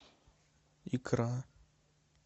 икра